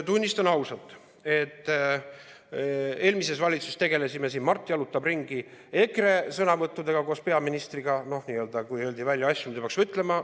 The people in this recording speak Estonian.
Tunnistan ausalt, et eelmises valitsuses tegelesime koos peaministriga – Mart jalutab ringi – EKRE sõnavõttudega, kui öeldi välja asju, mida ei oleks pidanud ütlema.